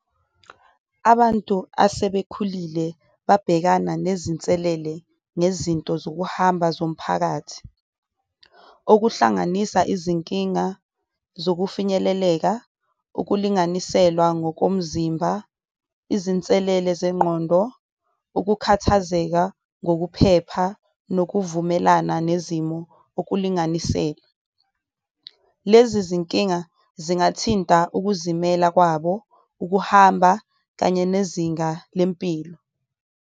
Abantu asebekhulile babhekana nezinselele ngezinto zokuhamba zomphakathi okuhlanganisa izinkinga zokufinyeleleka, ukulinganiselwa ngokomzimba, izinselele zengqondo, ukukhathazeka ngokuphepha, nokuvumelana nezimo okulinganisele. Lezi zinkinga zingathinta ukuzimela kwabo, ukuhamba kanye nezinga lempilo.